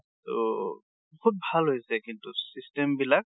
ট বহুত ভাল হৈছে কিন্তু system বিলাক।